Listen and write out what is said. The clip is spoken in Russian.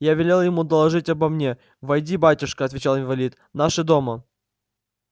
я велел ему доложить обо мне войди батюшка отвечал инвалид наши дома